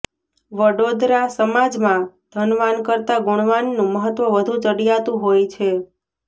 વડોદરાઃ સમાજમાં ધનવાન કરતાં ગુણવાનનું મહત્વ વધુ ચડિયાતું હોય છે